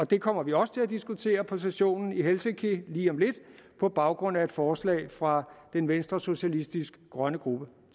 det kommer vi også til at diskutere på sessionen i helsinki lige om lidt på baggrund af et forslag fra den venstresocialistiske grønne gruppe